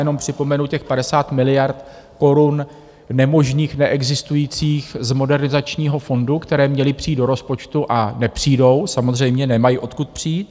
Jenom připomenu těch 50 miliard korun nemožných, neexistujících z Modernizačního fondu, které měly přijít do rozpočtu, a nepřijdou, samozřejmě, nemají odkud přijít.